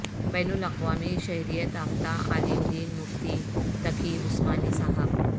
بین الاقوامی شہرت یافتہ عالم دین مفتی تقی عثمانی صاحب